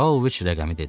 Pauloviç rəqəmi dedi.